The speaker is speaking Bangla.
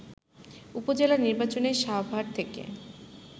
উপজেলা নির্বাচনে সাভার থেকে